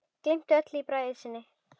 Gleymt öllu í bræði sinni.